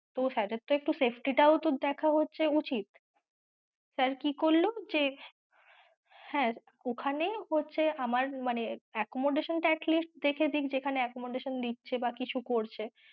তো sir এর তো একটু safety টাও তো দেখা উচিৎ sir কি করল যে হ্যাঁ, ঐখানে হচ্ছে আমার মানে accommodation টা atleast দেখেদিক যেখানে accommodation দিচ্ছে বা কিছু করছে।